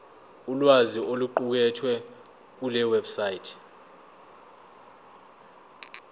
ulwazi oluqukethwe kulewebsite